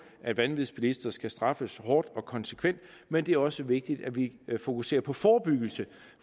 at vanvidsbilister skal straffes hårdt og konsekvent men det er også vigtigt at vi fokuserer på forebyggelse